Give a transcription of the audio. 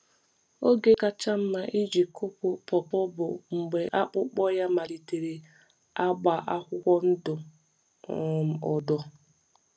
Oge kacha mma iji kụpu pawpaw bụ mgbe akpụkpọ ya malitere agba akwụkwọ ndụ um odo.